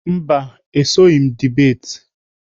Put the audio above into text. Mba, esoghị m bebate.